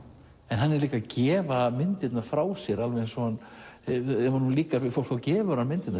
hann er líka að gefa myndirnar frá sér ef honum líkaði við fólk þá gefur hann myndirnar